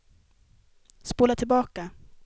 spola tillbaka